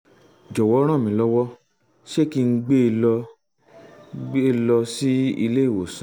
jọ̀wọ́ ràn mí lọ́wọ́ ṣé kí n gbé e lọ e lọ sí ilé ìwòsàn?